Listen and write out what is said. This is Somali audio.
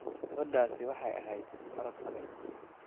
Gabadhaasi waxay ahayd orod adag